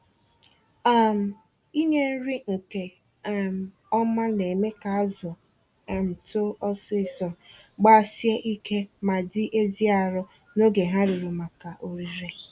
um Inye nri nke um ọma némè' ka azụ um too ọsịsọ, gbasie ike ma dị ezi arụ n'oge ha ruru maka orire